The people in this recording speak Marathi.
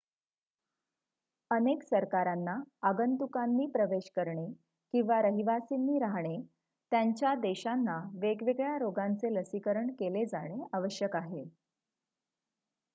अनेक सरकारांना आगंतुकांनी प्रवेश करणे किंवा रहिवासींनी राहणे त्यांच्या देशांना वेगवेगळ्या रोगांचे लसीकरण केले जाणे आवश्यक आहे